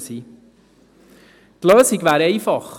Die Lösung wäre einfach: